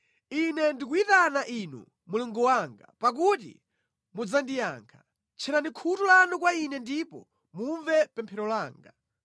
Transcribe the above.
Ine ndikuyitana Inu, Mulungu wanga, pakuti mudzandiyankha; tcherani khutu lanu kwa ine ndipo mumve pemphero langa.